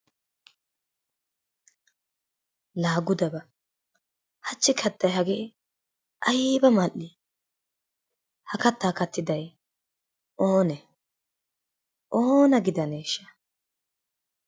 La gude ba! Hachchi kattay hagee ayba mal'i? Ha kattaa kattiday oonee?